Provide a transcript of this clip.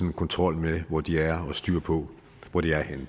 en kontrol med hvor de er og styr på hvor de er